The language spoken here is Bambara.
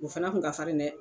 O fɛnɛ kun ka farin dɛ